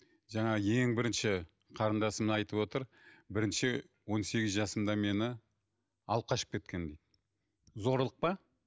жаңағы ең бірінші қарындасым айтып отыр бірінші он сегіз жасымда мені алып қашып кеткен дейді зорлық па